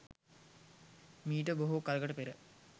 මීට බොහෝ කලකට පෙර